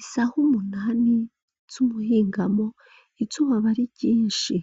Isaha umunani z'umuhingamo izuba aba ari ryinshi,